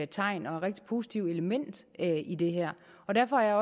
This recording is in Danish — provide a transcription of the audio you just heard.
tegn og et rigtig positivt element i det her derfor er